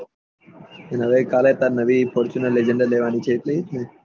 ને હવે કાલે તારે નવી ફોર્તુનેર લેગેન્દ્ર લેવાની એજ લઇ ને